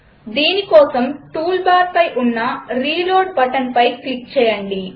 దీనికోసం టూల్బార్ పై ఉన్నReload బటన్పై క్లిక్ చేయండి